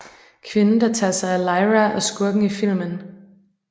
Kvinden der tager sig af Lyra og skurken i filmen